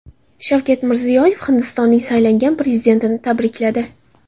Shavkat Mirziyoyev Hindistonning saylangan prezidentini tabrikladi.